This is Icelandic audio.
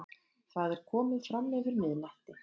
Það er komið framyfir miðnætti.